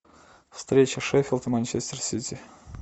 встреча шеффилд и манчестер сити